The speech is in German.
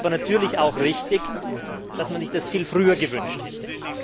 Es ist aber natürlich auch richtig, dass man sich das viel früher gewünscht hätte.